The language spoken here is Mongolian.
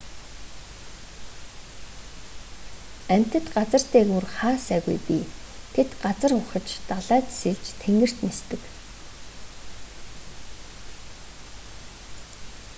амьтад газар дээгүүр хаа сайгүй бий тэд газар ухаж далайд сэлж тэнгэрт нисдэг